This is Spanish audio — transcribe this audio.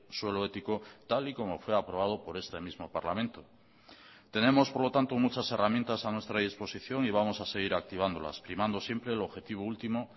suelo ético tal y como fue aprobado por este mismo parlamento tenemos por lo tanto muchas herramientas a nuestra disposición y vamos a seguir activándolas primando siempre el objetivo último